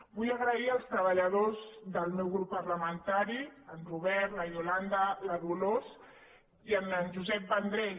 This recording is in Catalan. vull donar les gràcies als treballadors del meu grup parlamentari en robert la iolanda la dolors i en jo·sep vendrell